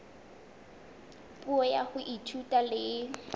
puo ya ho ithuta le